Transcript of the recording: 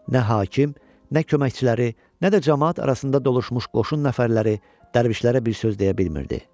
Nə hakim, nə köməkçiləri, nə də camaat arasında dolaşmış qoşun nəfərləri dərvişlərə bir söz deyə bilmirdi.